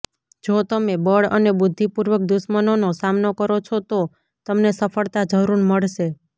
જો તમે બળ અને બુદ્ધિ પૂર્વક દુશ્મનોનો સામનો કરો છો તો તમને સફળતા જરૂર મળશે